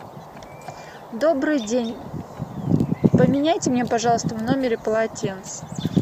добрый день поменяйте мне пожалуйста в номере полотенце